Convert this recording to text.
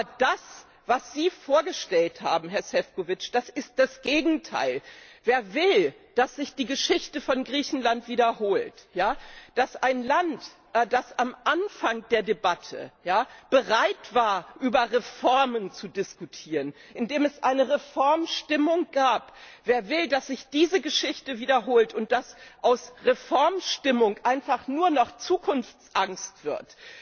Aber das, was Sie vorgestellt haben, Herr Šefčovič, ist das Gegenteil! Wer will, dass sich die Geschichte von Griechenland wiederholt eines Landes, das am Anfang der Debatte bereit war, über Reformen zu diskutieren, in dem es eine Reformstimmung gab wer will, dass sich diese Geschichte wiederholt und dass aus Reformstimmung einfach nur noch Zukunftsangst wird,